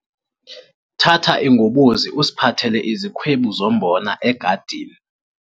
Thatha ingobozi usiphathele izikhwebu zombona egadini.